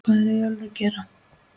HVAÐ ER EYJÓLFUR AÐ GERA????